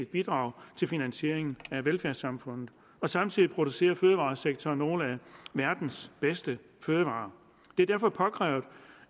bidrag til finansieringen af velfærdssamfundet samtidig producerer fødevaresektoren nogle af verdens bedste fødevarer det er derfor påkrævet